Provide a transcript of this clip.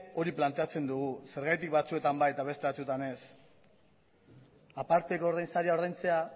hori planteatzen dugu zergatik batzuetan bai eta beste batzuetan ez aparteko ordain saria ordaintzea